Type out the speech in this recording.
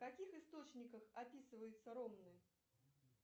в каких источниках описываются ромны